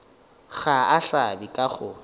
ga a hlabe ka go